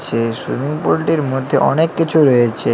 যে সুইমিং পুুলটির মধ্যে অনেক কিছু রয়েছে।